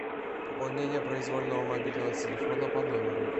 пополнение произвольного мобильного телефона по номеру